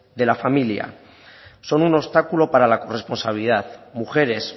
de la familia son un obstáculo para la corresponsabilidad mujeres